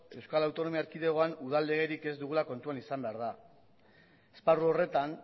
euskal autonomi erkidegoan udal legerik ez dugula kontuan izan behar da esparru horretan